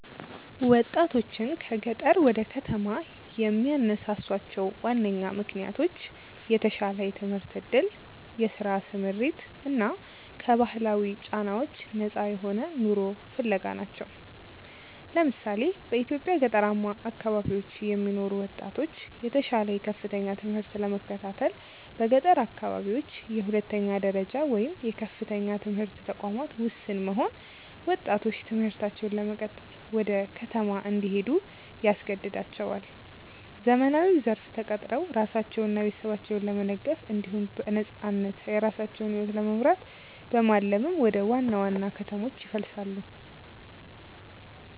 ወጣቶችን ከገጠር ወደ ከተማ የሚያነሳሷቸው ዋነኛ ምክንያቶች የተሻለ የትምህርት ዕድል፣ የሥራ ስምሪት እና ከባህላዊ ጫናዎች ነፃ የሆነ ኑሮ ፍለጋ ናቸው። ለምሳሌ፣ በኢትዮጵያ ገጠራማ አካባቢዎች የሚኖሩ ወጣቶች የተሻለ የከፍተኛ ትምህርት ለመከታተል በገጠር አካባቢዎች የሁለተኛ ደረጃ ወይም የከፍተኛ ትምህርት ተቋማት ውስን መሆን ወጣቶች ትምህርታቸውን ለመቀጠል ወደ ከተማ እንዲሄዱ ያስገድዳቸዋል። ዘመናዊው ዘርፍ ተቀጥረው ራሳቸውንና ቤተሰባቸውን ለመደገፍ እንዲሁም በነፃነት የራሳቸውን ሕይወት ለመምራት በማለም ወደ ዋና ዋና ከተሞች ይፈልሳሉ።